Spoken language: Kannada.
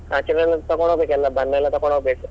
ಆಚರಣೆಗೆ ಎಲ್ಲಾ ತಕ್ಕೊಂಡು ಹೋಗ್ಬೇಕು ಎಲ್ಲಾ ಬಣ್ಣಯೆಲ್ಲ ತಕೊಂಡ್ ಹೋಗ್ಬೇಕು.